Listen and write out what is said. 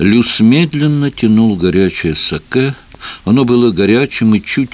плюс медленно тянул горячую сакэ оно было горячим и чуть